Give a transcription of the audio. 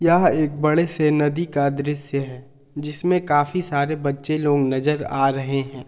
यह एक बड़े से नदी का दृश्य है जिसमें काफी सारे बच्चे लोग नजर आ रहे हैं।